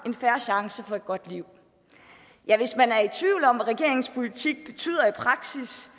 en fair chance for et godt liv ja hvis man er i tvivl om hvad regeringens politik betyder i praksis